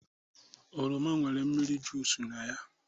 oroma nwere mmiri juic na ya